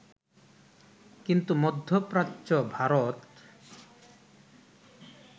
কিন্তু মধ্যপ্রাচ্য, ভারত